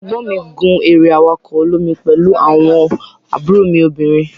egbon mi gun ere awako olomi pelu awon mi obinrin.